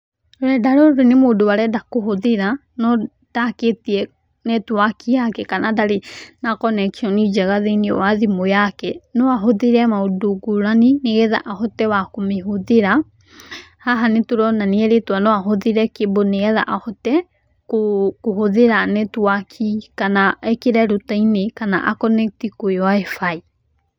Rũrenda rũrũ nĩ mũndũ arenda kũhũthĩra no ndakĩtie netiwaki yake, kana ndarĩ na connection njega thĩĩniĩ wa thimũ yake, no ahũthĩre maũndũ ngũrani nĩgetha ahote kũmĩhũthĩra. Haha nĩtũrona nĩerĩtũo no ahũthĩre cable nĩgetha ahote kũhũthĩra netiwaki kana ekĩre router -ini kana a connect kwĩ WIFI.